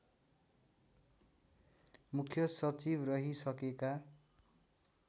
मुख्य सचिव रहिसकेका